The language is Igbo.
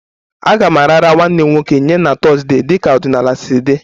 A ga-arara nwanne m nwoke nye na Thursday dịka ọdịnala si dị